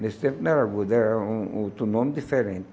Nesse tempo não era agudo, era um um outro nome diferente.